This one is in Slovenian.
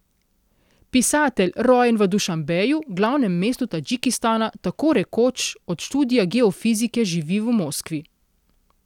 Pisatelj, rojen v Dušanbeju, glavnem mestu Tadžikistana, tako rekoč od študija geofizike živi v Moskvi.